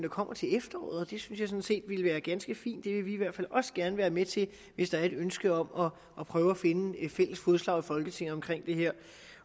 kommer til efteråret og synes jeg sådan set ville være ganske fint det vil vi i hvert fald gerne være med til hvis der er et ønske om at prøve at finde fælles fodslag i folketinget omkring det her